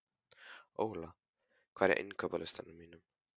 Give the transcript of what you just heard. Óla, hvað er á innkaupalistanum mínum?